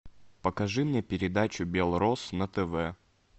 покажи мне передачу белрос на тв